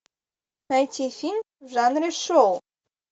найти фильм в жанре шоу